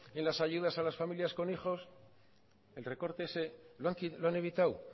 en las ayudas a las familias con hijos el recorte ese lo han evitado